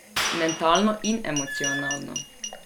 Mentalno in emocionalno.